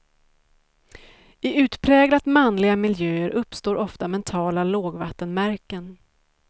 I utpräglat manliga miljöer uppstår ofta mentala lågvattenmärken.